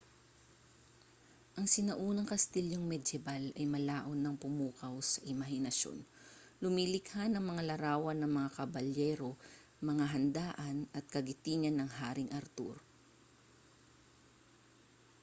ang sinaunang kastilyong medyebal ay malaon ng pumukaw sa imahinasyon lumilikha ng mga larawan ng mga kabalyero mga handaan at kagitingan ng haring arthur